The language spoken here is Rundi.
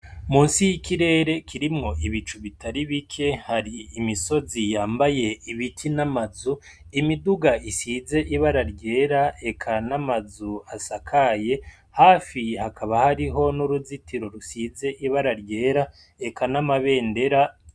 Musi y'ikirere kirimwo ibicu bitari bike, hari imisozi yambaye ibiti n'amazu, imiduga isize ibara ryera eka n'amazu asakaye, hafi hakaba hariho n'uruzitiro rusize ibara ryera, eka n'amabendera.